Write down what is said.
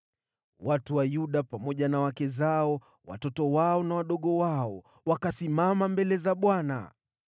Watu wote wa Yuda pamoja na wake zao, watoto wao na wadogo wao wakasimama pale mbele za Bwana .